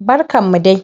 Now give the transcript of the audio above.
barkan mu dai